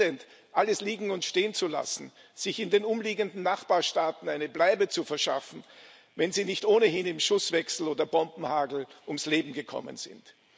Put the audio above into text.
Das Elend, alles liegen und stehen zu lassen, sich in den umliegenden Nachbarstaaten eine Bleibe zu verschaffen, wenn sie nicht ohnehin im Schusswechsel oder Bombenhagel ums Leben gekommen sind.